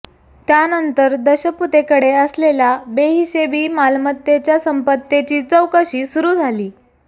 त्यानंतर दशपुतेकडे असलेल्या बेहिशेबी मालमत्तेच्या संपत्तीची चौकशी सुरू झाली आहे